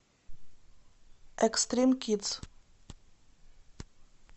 экстрим кидс